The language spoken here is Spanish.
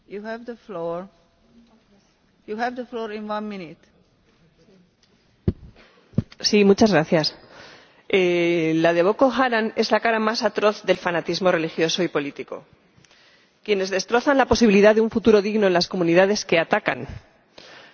Señora Presidenta, la de Boko Haram es la cara más atroz del fanatismo religioso y político. Quienes destrozan la posibilidad de un futuro digno en las comunidades que atacan lo hacen precisamente para ello.